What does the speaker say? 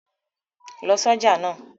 Lọ ṣọ̀já náà!